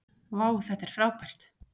vá þetta er frábært